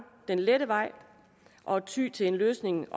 den lette vej og tyer til den løsning